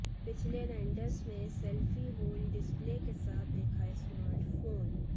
पिछले रेंडर्स में selfie hole display के साथ दिखा स्मार्टफोन